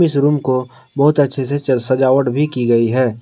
इस रूम को बहुत अच्छे से सजावट भी की गई है।